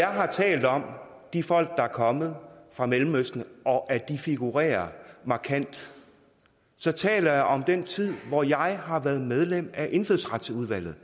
har talt om de folk der er kommet fra mellemøsten og at de figurerer markant så taler jeg om den tid hvor jeg har været medlem af indfødsretsudvalget